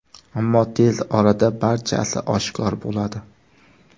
Ammo tez orada barchasi oshkor bo‘ladi.